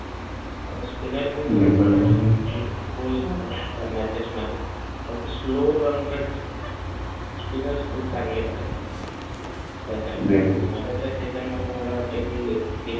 spinnar roll राहणार या matches मध्ये फक्त slow run rate spinner खुप चांगले करत आहेत आपले त्याच्यामध्ये मला वाटतंय कि